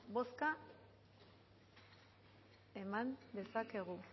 bozka eman dezakegu